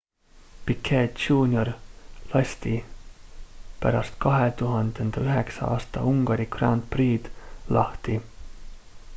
piquet jr lasti pärast 2009 aasta ungari grand prix'd lahti